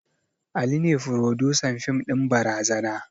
Ali ne frodusan fim ɗin barazana